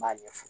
N b'a ɲɛfɔ